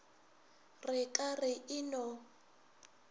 re ka re e no